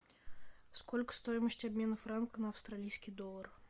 сколько стоимость обмена франк на австралийский доллар